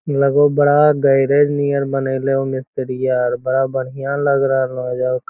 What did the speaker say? लगो बड़ा garage near बनेले मिस्त्रिया बड़ा बड़िया लग रहल है ।